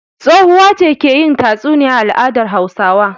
Tsohuwa ce ke yin tatsuniya a al'adar Hausawa.